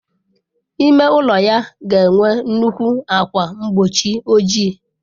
Ime ụlọ ya ga enwe nnukwu ákwà mgbochi ojii.